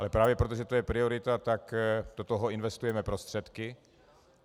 Ale právě proto, že to je priorita, tak do toho investujeme prostředky.